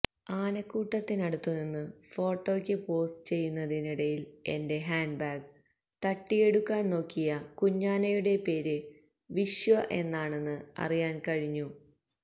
ആനക്കൂട്ടത്തിനടുത്തുനിന്ന് ഫോട്ടോയ്ക്ക് പോസ് ചെയ്യുന്നതിനിടയില് എന്റെ ഹാന്ഡ് ബാഗ് തട്ടിയെടുക്കാന് നോക്കിയ കുഞ്ഞാനയുടെ പേര് വിശ്വ എന്നാണെന്ന് അറിയാന് കഴിഞ്ഞു